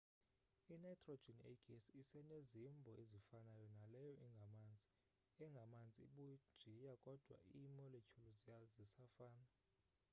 i-nitrogen eyigesi isenezimbo ezifanayo naleyo ingamanzi engamanzi ibujiya kodwa ii-molecule zisafana